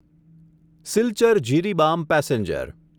Silchar Jiribam passenger